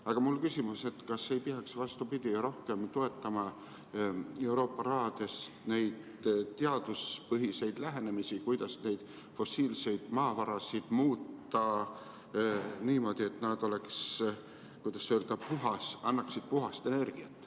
Aga mul on küsimus, et kas ei peaks, vastupidi, rohkem toetama Euroopa rahaga neid teaduspõhiseid lähenemisi, kuidas fossiilseid maavarasid muuta niimoodi, et nad oleksid puhtad, annaksid puhast energiat.